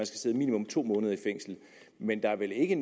sidde minimum to måneder i fængsel men der er vel ikke